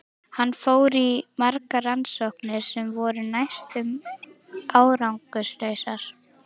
Hann fór í margar rannsóknir sem voru næstum árangurslausar.